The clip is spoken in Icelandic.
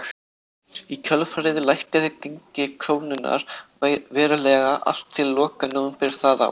Í kjölfarið lækkaði gengi krónunnar verulega allt til loka nóvember það ár.